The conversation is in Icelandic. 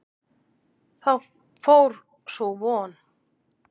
Þá fór sú von!